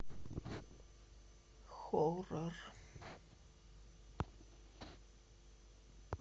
хоррор